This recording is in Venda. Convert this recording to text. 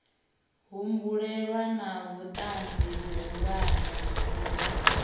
humbulelwa na vhutanzi vhuhulwane vhune